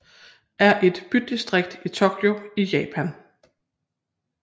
er et bydistrikt i Tokyo i Japan